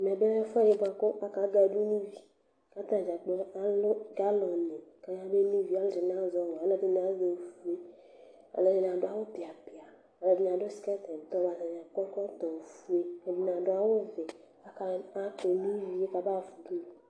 Ɛmɛlɛ ɛfʋɛdi kʋ akagadʋ nʋ ivi atadza kplo alʋ galɔni kabeno ivi, alʋɛdini azɛ ɔwɛ, alʋɛdini azɛ ofue Alʋedini adʋ awʋ piapia, alʋɛdini adʋ skɛt kʋ ɛdini akɔ ɛkɔtɔ ofue adʋ awʋvɛ kʋ akeno ivie kabahafa nʋ ʋdʋnʋ